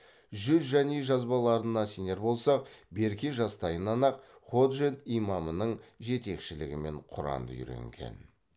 жүзжани жазбаларына сенер болсақ берке жастайынан ақ ходжент имамының жетекшілігімен құранды үйренген